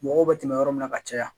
Mɔgɔw bɛ tɛmɛ yɔrɔ min na ka caya